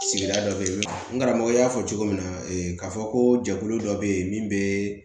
Sigida dɔ bɛ yen n karamɔgɔ y'a fɔ cogo min na k'a fɔ ko jɛkulu dɔ bɛ yen min bɛ